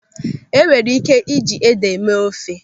Enwere ị́ké iji ede mee ofe.